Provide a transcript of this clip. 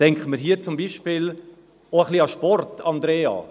Denken wir hier zum Beispiel auch ein bisschen an den Sport, Andrea.